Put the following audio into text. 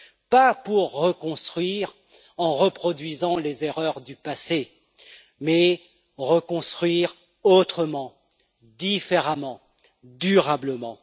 Pas pour reconstruire en reproduisant les erreurs du passé, mais reconstruire autrement, différemment, durablement.